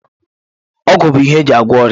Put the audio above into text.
Ọgwụ bụ ihe eji agwọ ọrịa.